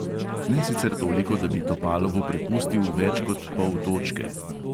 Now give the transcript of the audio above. Ne sicer toliko, da bi topalovu prepustil več kot pol točke.